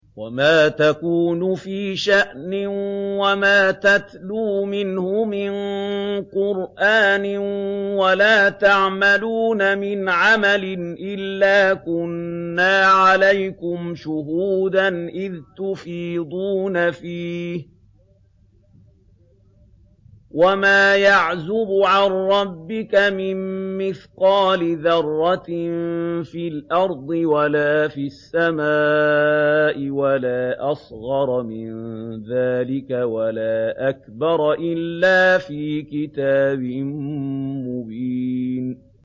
وَمَا تَكُونُ فِي شَأْنٍ وَمَا تَتْلُو مِنْهُ مِن قُرْآنٍ وَلَا تَعْمَلُونَ مِنْ عَمَلٍ إِلَّا كُنَّا عَلَيْكُمْ شُهُودًا إِذْ تُفِيضُونَ فِيهِ ۚ وَمَا يَعْزُبُ عَن رَّبِّكَ مِن مِّثْقَالِ ذَرَّةٍ فِي الْأَرْضِ وَلَا فِي السَّمَاءِ وَلَا أَصْغَرَ مِن ذَٰلِكَ وَلَا أَكْبَرَ إِلَّا فِي كِتَابٍ مُّبِينٍ